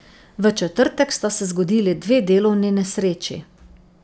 V četrtek sta se zgodili dve delovni nesreči.